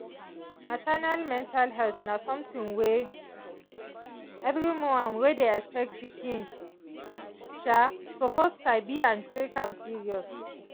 maternal mental health na something wey every woman wey dey expect pikin suppose sabi and take am serious.